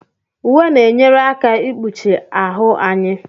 Uwe na-enyere aka ikpuchi ahụ anyị.